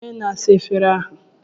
Kedu onye na-asa efere ahụ?